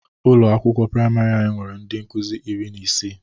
Ụlọ akwụkwọ prịmarị anya nwere ndị nkụzị iri na isii.